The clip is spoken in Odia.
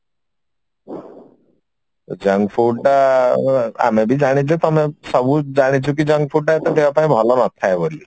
junk food ତ ଆମେ ବି ଜାଣିଛୁ ତମେ ସବୁ ଜାଣିଛ ଯେ junk food ତ ଏତେ ଦେହ ପାଇଁ ଭଲ ନଥାଏ ବୋଲି